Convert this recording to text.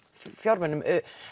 fjármunum